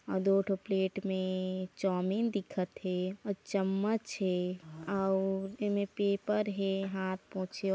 दो थो प्लेट में चोमिन ढीखत हे और चम्मच हे और ए में पेपर हेहाथ पोछे--